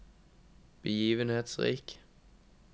begivenhetsrik